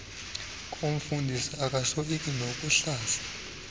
koomfundisi akasoyiki nokuhlaza